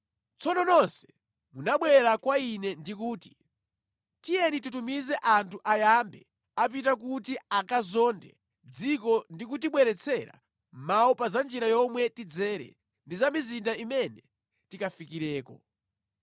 Tsono nonse munabwera kwa ine ndi kuti, “Tiyeni titumize anthu ayambe apita kuti akazonde dzikolo ndi kutibweretsera mawu pa za njira yomwe tidzere ndi za mizinda imene tikafikireko.”